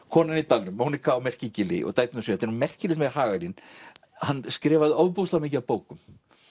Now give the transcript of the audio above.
konan í dalnum Monika á Merkigili og dæturnar sjö þetta er nú merkilegt með Hagalín hann skrifaði ofboðslega mikið af bókum